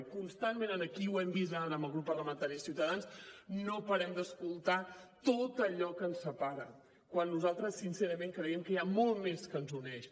i constantment aquí ho hem vist ara amb el grup parlamentari de ciutadans no parem d’escoltar tot allò que ens separa quan nosaltres sincerament creiem que hi ha molt més que ens uneix